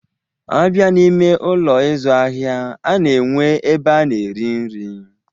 A bịa n'ime Ụlọ ịzụ ahịa, a na-enwe ebe a na-eri nri.